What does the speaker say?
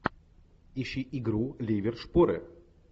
ищи игру ливер шпоры